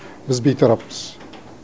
біз бейтараппыз